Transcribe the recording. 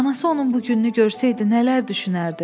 Anası onun bu gününü görsəydi, nələr düşünərdi?